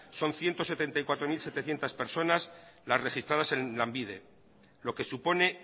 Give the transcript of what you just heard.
son ciento setenta y cuatro mil setecientos personas las registradas en lanbide lo que supone